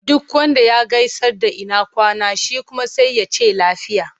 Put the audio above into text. Duk wanda ka gaisar da ina kwana? Shi kuma sai ya ce lafiya.